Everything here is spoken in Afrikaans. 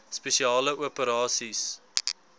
spesiale operasies dso